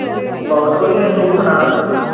ਬਹੁਤ ਵਧੀਆ ਤੂੰ ਸੁਣਾ